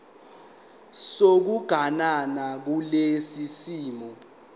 sokuganana kulesi simo